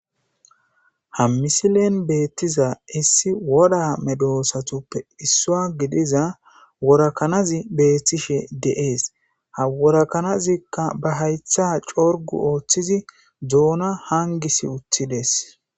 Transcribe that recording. ha misilen beettiza issi woda medoosatuppe issua gidiza worakanazi beettishe deees haworakanazikka ba haytha corgu ooththizi doona hangisi utthides